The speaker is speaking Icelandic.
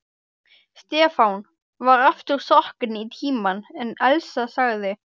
Stefán var aftur sokkinn í Tímann en Elsa sagði